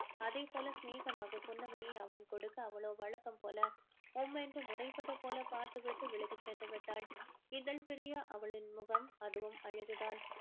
அதேபோல சினேகமாக புன்னகையை அவன் கொடுக்க அவளோ வழக்கம் போல உம்மென்று முறைப்பது போல பார்த்து விட்டு விலகி சென்று விட்டாள் இதழ் பிரியா அவளின் முகம் அதுவும் அழகுதான்